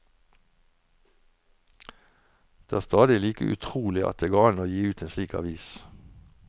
Det er stadig like utrolig at det går an å gi ut en slik avis.